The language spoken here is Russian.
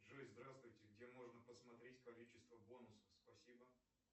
джой здравствуйте где можно посмотреть количество бонусов спасибо